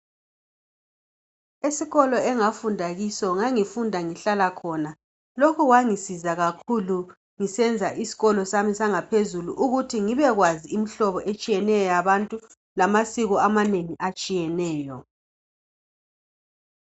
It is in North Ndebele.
Esikolo engafunda kiso ngangifunda ngihlala khona lokhu kwangisiza kakhulu ngisenza isikolo sami sangaphezulu ukuthi ngibe kwazi imihlobo etshiyeneyo yabantu lamasiko amanengi atshiyeneyo.